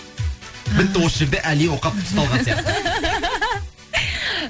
і бітті осы жерде али оқапов ұсталған сияқты